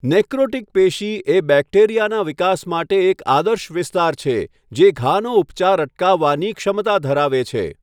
Necrotic પેશી એ બેક્ટેરિયાના વિકાસ માટે એક આદર્શ વિસ્તાર છે, જે ઘાનો ઉપચાર અટકાવવાની ક્ષમતા ધરાવે છે.